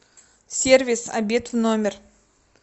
сервис обед в номер